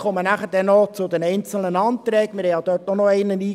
Ich komme nachher auf die einzelnen Anträge zu sprechen.